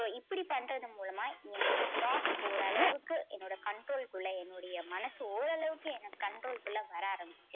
இப்படி பண்றது மூலமா என்னோட thought ஓரளவுக்கு என்னோட control க்குள்ள என்னுடைய மனசு ஓரளவுக்கு என்ன control க்குள்ள வர ஆரம்பிச்சது.